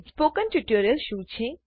spoken tutorial શું છે